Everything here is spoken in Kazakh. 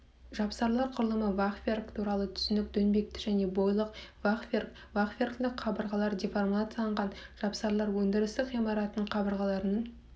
жапсарлар құрылымы фахверк туралы түсінік доңбекті және бойлық фахверк фахверклі қабырғалар деформацияланған жапсарлар өндірістік ғимараттардың қабырғаларының